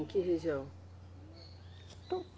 Em que região?